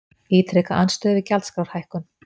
Ítreka andstöðu við gjaldskrárhækkun